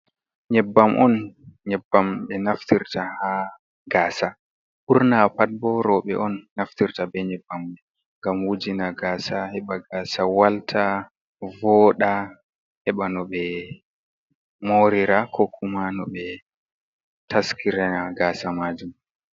Nyebbam on nyebbam ɓe naftirta ha gaasa ɓurna pat bo rooɓe on naftirta be nyebbam ngam wujina gaasa heɓa gasa walta vooɗa, heɓa no ɓe morira ko kuma no ɓe taskirana gaasa majum.